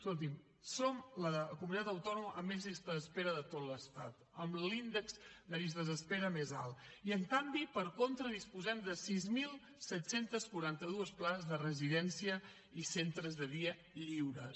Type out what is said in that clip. escolti’m som la comunitat autònoma amb més llista d’espera de tot l’estat amb l’índex de llistes d’espera més alt i en canvi per contra disposem de sis mil set cents i quaranta dos places de residència i centres de dia lliures